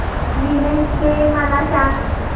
women's day मला सांग